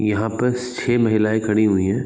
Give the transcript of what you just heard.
यहाँ पस छ: महिलएं खड़ी हुई है।